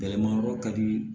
Gɛlɛma yɔrɔ ka di